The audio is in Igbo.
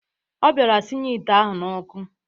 Ọ bịara sinye ite ahụ n'ọkụ